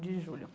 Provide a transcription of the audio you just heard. julho